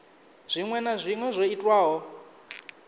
zwinwe na zwinwe zwo itwaho